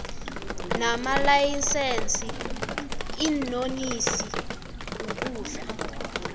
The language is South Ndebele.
namalayisense iinonisi ukudla